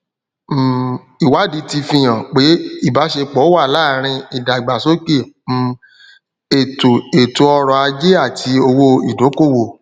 um ìwádìí ti fihàn pé ìbásepọ wà láàrin ìdàgbàsókè um ètò ètò ọrọ ajé àti owó ìdókówò